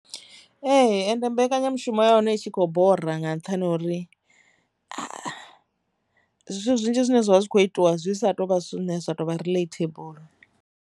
Ee, ende mbekanyamushumo ya hone i tshi kho bora nga nṱhani ha uri zwithu zwinzhi zwine zwavha zwi kho itiwa zwi sa tou vha zwithu zwine zwa tou vha releatable.